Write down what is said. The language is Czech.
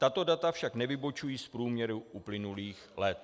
Tato data však nevybočují z průměru uplynulých let.